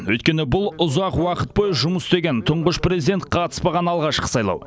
өйткені бұл ұзақ уақыт бойы жұмыс жұмыс істеген тұңғыш президент қатыспаған алғашқы сайлау